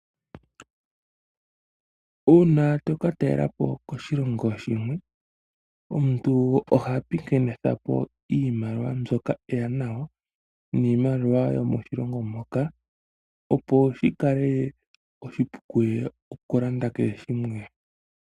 Uuna to ka talelapo koshilongo shimwe, omuntu oha taambathana iimaliwa mbyoka eya nayo niimaliwa yo moshilongo moka. Opo shi kale oshipu kuye oku landa kehe shimwe.